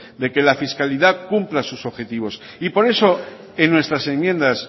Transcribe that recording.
de que la fiscalidad cumpla sus objetivos y por eso en nuestras enmiendas